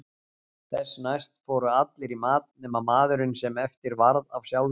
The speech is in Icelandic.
Þessu næst fóru allir í mat nema maðurinn sem eftir varð af sjálfum sér.